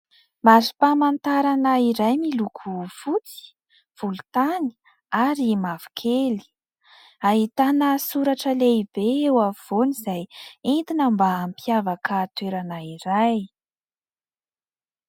Mari-pamantarana iray miloko fotsy, volontany ary mavokely. Ahitana soratra lehibe eo avy afovoany izay entina mba hampiavaka toerana iray.